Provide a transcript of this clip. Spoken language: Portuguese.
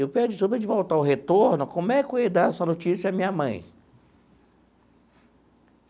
E o pior de tudo, antes de voltar ao retorno, como é que eu ia dar essa notícia à minha mãe?